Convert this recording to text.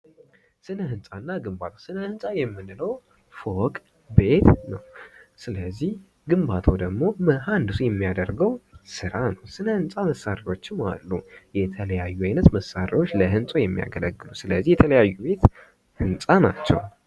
ስነ ሕንፃና ግንባታ ስነ ሕንፃ የምንለዉ ፎቅ ቤት ነዉ። ስለዚህ ግንባታዉ ደግሞ መሀንዲሱ የሚያደርገዉ ስራ ነዉ። ስነ ህንፃ መሳሪያዎቹም አሉ። የተለያዩ አይነት መሳሪያዎች ለህንፃ የሚያገለግሉ ስለዚህ የተለያዩ ህንፃ ናቸዉ።